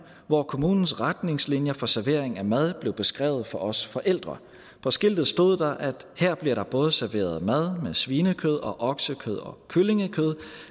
hvor kommunens retningslinjer for servering af mad blev beskrevet for os forældre på skiltet stod der at her blev der både serveret mad med svinekød og oksekød og kyllingekød